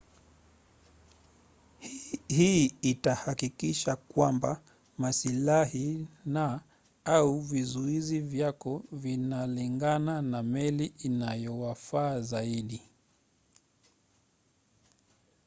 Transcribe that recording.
hii itahakikisha kwamba masilahi na/au vizuizi vyako vinalingana na meli inayowafaa zaidi